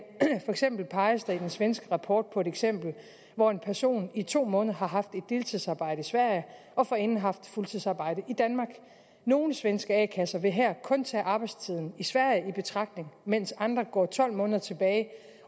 for eksempel peges der i den svenske rapport på et eksempel hvor en person i to måneder har haft et deltidsarbejde i sverige og forinden haft fuldtidsarbejde i danmark nogle svenske a kasser vil her kun tage arbejdstiden i sverige i betragtning mens andre går tolv måneder tilbage